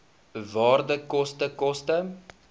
waarde koste koste